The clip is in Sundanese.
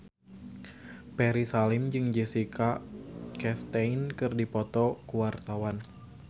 Ferry Salim jeung Jessica Chastain keur dipoto ku wartawan